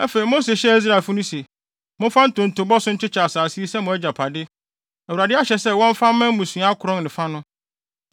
Afei Mose hyɛɛ Israelfo no se, “Momfa ntontobɔ so nkyekyɛ asase yi sɛ mo agyapade. Awurade ahyɛ sɛ wɔmfa mma mmusua akron ne fa no,